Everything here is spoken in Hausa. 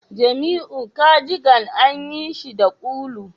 Jamiu cardigan an yi shi da ulu